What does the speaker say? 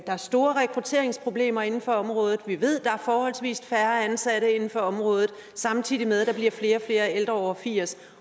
der er store rekrutteringsproblemer inden for området vi ved at der er forholdsvist færre ansatte inden for området samtidig med at der bliver flere og flere ældre over firs